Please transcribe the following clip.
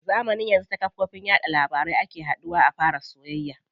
Zamanin yanzu yawanci a kafofin yaɗa labarai ake haduwa a fara soyayya.